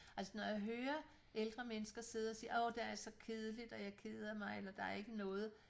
Altså når jeg hører ældre mennesker sidde at sige åh der er så kedeligt og jeg keder mig eller der er ikke noget